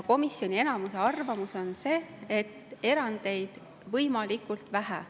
Komisjoni enamuse arvamus on see, et erandeid olgu võimalikult vähe.